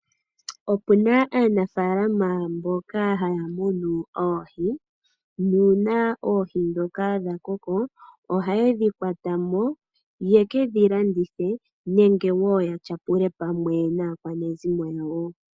Opu na aanafalama yamwe mboka haya munu oohi nuuna oohi ndhoka dha koko ohaye dhi kwata mo, ye ke dhi landithe nenge wo ya tyapule pamwe naakwanezimo yawo.